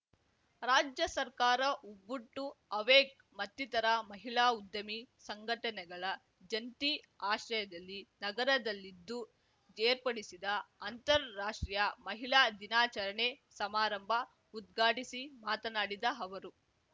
ರಾಜ್ಯ ಸರ್ಕಾರ Ubuntu awake ಮತ್ತಿತರ ಮಹಿಳಾ ಉದ್ಯಮಿ ಸಂಘಟನೆಗಳ ಜಂಟಿ ಆಶ್ರಯದಲ್ಲಿ ನಗರದಲ್ಲಿದ್ದು ಏರ್ಪಡಿಸಿದ್ದ ಅಂತರರಾಷ್ಟ್ರೀಯ ಮಹಿಳಾ ದಿನಾಚರಣೆ ಸಮಾರಂಭ ಉದ್ಘಾಟಿಸಿ ಮಾತನಾಡಿದ ಅವರು